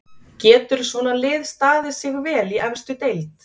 Getur svona lið staðið sig vel í efstu deild?